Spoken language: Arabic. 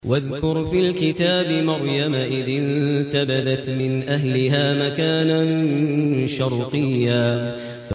وَاذْكُرْ فِي الْكِتَابِ مَرْيَمَ إِذِ انتَبَذَتْ مِنْ أَهْلِهَا مَكَانًا شَرْقِيًّا